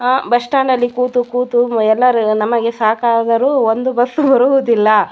ಆಹ್ಹ್ bus stand ಅಲ್ಲಿ ಕೂತು ಕೂತು ಎಲ್ಲರೂ ನಮಗೆ ಸಾಕಾದರು ಒಂದು ಬಸ್ಸು ಬರುವುದಿಲ್ಲ--